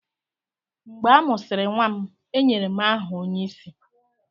Mgbe a mụsịrị nwa m, e nyere m aha onyeisi.